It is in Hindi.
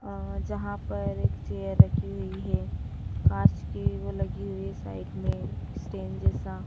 अ जहां पर एक चेयर रखी हुई है कांच की वो लगी हुई साइड में स्टैंड जैसा।